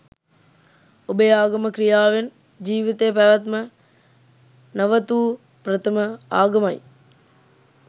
ඔබේ ආගම ක්‍රියාවෙන් ජීවිතය පැවැත්ම නැවතූ ප්‍රථම ආගමයි